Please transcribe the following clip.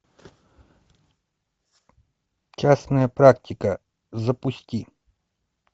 частная практика запусти